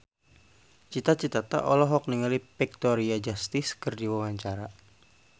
Cita Citata olohok ningali Victoria Justice keur diwawancara